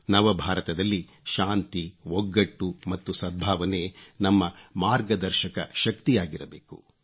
ನವಭಾರತದಲ್ಲಿ ಶಾಂತಿ ಒಗ್ಗಟ್ಟು ಮತ್ತು ಸದ್ಭಾವನೆ ನಮ್ಮ ಮಾರ್ಗದರ್ಶಕ ಶಕ್ತಿಯಾಗಿರಬೇಕು